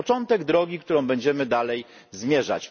To jest początek drogi, którą będziemy dalej zmierzać.